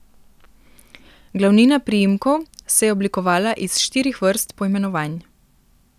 Glavnina priimkov se je oblikovala iz štirih vrst poimenovanj.